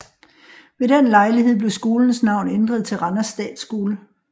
Ved den lejlighed blev skolens navn ændret til Randers Statskole